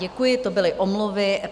Děkuji, to byly omluvy.